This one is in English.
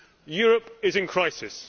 Europe is in crisis.